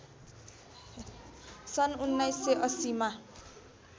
सन् १९८० मा